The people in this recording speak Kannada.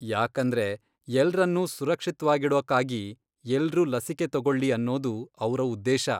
ಯಾಕಂದ್ರೆ ಎಲ್ರನ್ನೂ ಸುರಕ್ಷಿತ್ವಾಗಿಡೋಕಾಗಿ ಎಲ್ರೂ ಲಸಿಕೆ ತಗೊಳ್ಲೀ ಅನ್ನೋದು ಅವ್ರ ಉದ್ದೇಶ.